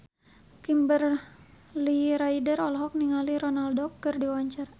Kimberly Ryder olohok ningali Ronaldo keur diwawancara